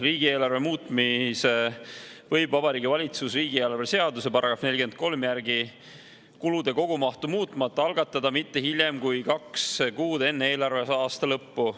Riigieelarve muutmise võib Vabariigi Valitsus riigieelarve seaduse § 43 järgi kulude kogumahtu muutmata algatada mitte hiljem kui kaks kuud enne eelarveaasta lõppu.